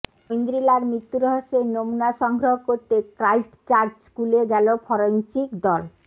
ঐন্দ্রিলার মৃত্যু রহস্যের নমুনা সংগ্রহ করতে ক্রাইস্ট চার্চ স্কুলে গেল ফরেনসিক দল